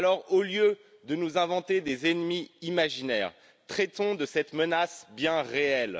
Au lieu de nous inventer des ennemis imaginaires, traitons de cette menace bien réelle.